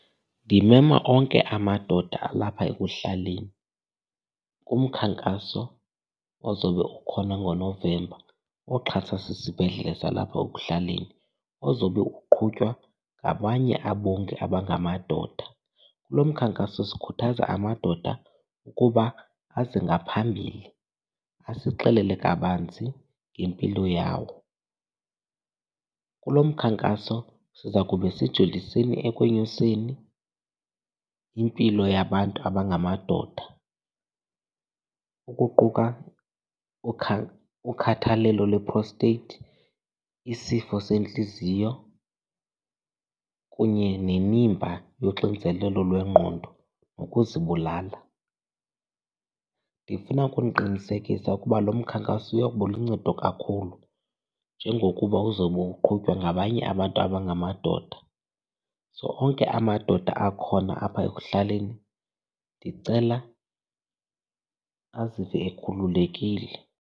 Ndimema onke amadoda alapha ekuhlaleni kumkhankaso ozawube ukhona ngoNovemba oxhaswa sisibhedlele salapha ekuhlaleni ozobe uqhutywa ngabanye abongi abangamadoda. Kulo mkhankaso sikhuthaza amadoda ukuba aze ngaphambili asixelela kabanzi ngempilo yawo. Kulo mkhankaso siza kube sijoliseni ekonyuseni impilo yabantu abangamadoda ukuquka ukhathalelo lwe-prostate, isifo sentliziyo kunye nemiba yoxinezelo lwengqondo nokuzibulala. Ndifuna ukuniqinisekisa ukuba lo mkhankaso uya kuba luncedo kakhulu njengokuba uzobe uqhutywa ngabanye abantu abangamadoda. So onke amadoda akhona apha ekuhlaleni, ndicela azive ekhululekile.